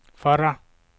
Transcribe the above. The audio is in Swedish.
förra